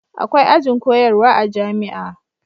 akwai ajin koyarwa a jami'a